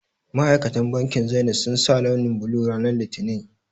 Ma'aikatan bankin zenith sun sa launi blue ranan litinin